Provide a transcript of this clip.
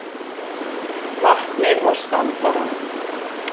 vatnið og standarann.